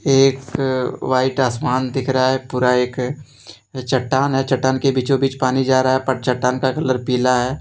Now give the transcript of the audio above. एक व्हाइट आसमान दिख रहा है पूरा एक चट्टान है चट्टान के बीचों बीच पानी जा रहा है पर चट्टान का कलर पिला है।